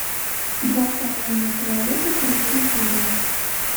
два с половиной человека третья серия